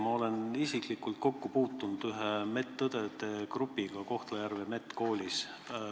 Ma olen isiklikult kokku puutunud ühe medõdede grupiga Kohtla-Järve medkoolis.